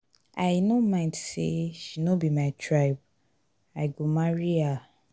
i no mind sey she no be my tribe i go marry her.